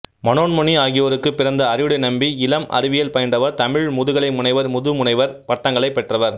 மனோன்மணி ஆகியோருக்குப் பிறந்த அறிவுடைநம்பி இளம் அறிவியல் பயின்றவர் தமிழ் முதுகலை முனைவர் முதுமுனைவர் பட்டங்களைப் பெற்றவர்